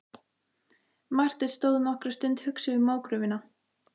Marteinn stóð nokkra stund hugsi við mógröfina.